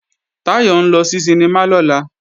Táyọ̀ ń lọ sí sinimá lọ́la